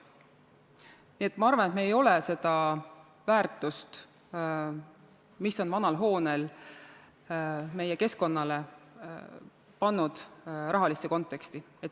Nii et ma arvan, et me ei ole seda väärtust, mis on vanal hoonel meie keskkonnale, pannud rahalisse konteksti.